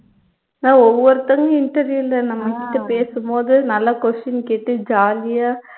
ஓ ஒவ்வொருத்தவங்களும் interview ல நம்ம கிட்ட பேசும்போது நல்லா question கேட்டு jolly ஆ